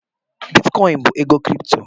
Bitikoin bụ ego Kripto